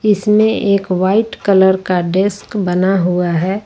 इसमें एक white colour का डेस्क बना हुआ है।